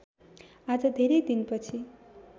आज धेरै दिनपछि